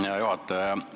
Hea juhataja!